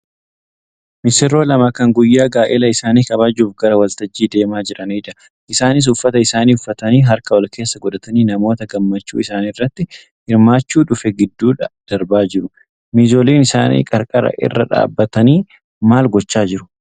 Misirroo lama kan guyyaa gaa'ela isaanii kabajuuf gara waltajjiitti deemaa jiranidha. Isaaniis uffata isaanii uffatanii harka walkeessa godhatanii namoota gammachuu isaaniirratti hirmaachuu dhufe gidduu darbaa jiru. Miizoliin isaanii qarqara irra dhaabbatanii maal gochaa jiruu?